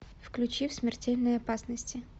включи в смертельной опасности